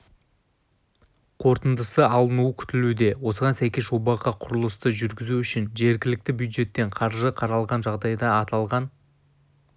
қорытындысы алынуы күтілуде осыған сәйкес жобаға құрылысты жүргізу үшін жергілікті бюджеттен қаржы қаралған жағдайда аталған